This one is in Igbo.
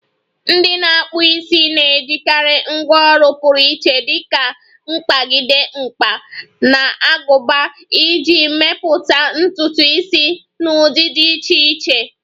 Ndị na-akpụ isi na-ejikarị ngwá ọrụ pụrụ iche dika mkpagide, mkpa, na aguba iji mepụta ntutu isi na ụdị dị iche iche.